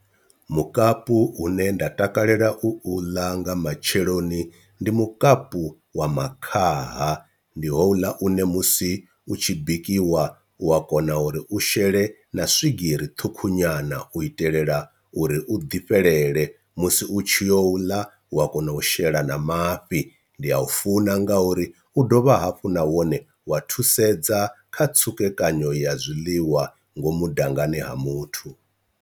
Mukapu une nda takalela u ḽa nga matsheloni ndi mukapu wa makhaha, ndi houḽa une musi u tshi bikiwa u a kona uri u shele na swigiri ṱhukhu nyana u itelela u uri u ḓi fhelele musi u tshi yo ḽa wa kona u shela na mafhi, ndi a u funa nga uri u dovha hafhu na wone wa thusedza kha tsukekanyo ya zwiḽiwa ngomu dangani ha muthu.